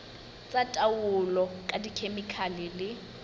tsa taolo ka dikhemikhale le